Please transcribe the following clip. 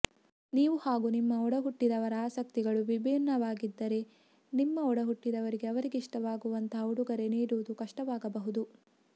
ನೀವು ಹಾಗೂ ನಿಮ್ಮ ಒಡಹುಟ್ಟಿದವರ ಆಸಕ್ತಿಗಳು ವಿಭಿನ್ನವಾಗಿದ್ದರೆ ನಿಮ್ಮ ಒಡಹುಟ್ಟಿದವರಿಗೆ ಅವರಿಗಿಷ್ಟವಾಗುವಂಥ ಉಡುಗೊರೆ ನೀಡುವುದು ಕಷ್ಟವಾಗಬಹುದು